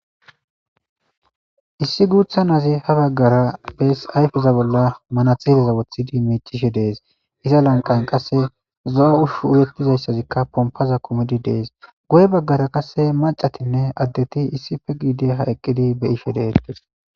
issi guutha nazi ha baggara bees ayfeza bolla manaxideza wothidi miichishe dees iza lanqan qasse zo7a ushu uyettizayssazikka pompaza komidi dees goy baggara qasse macatinne addeti issife giide ha eqqidi beyishe deedees